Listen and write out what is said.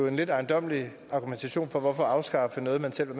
en lidt ejendommelig argumentation for at afskaffe noget man selv har